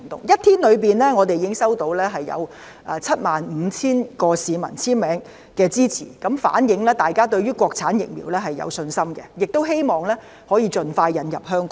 一天之內，我們已經收到75000名市民簽名支持，反映大家對於國產疫苗有信心，亦希望可以盡快引入香港。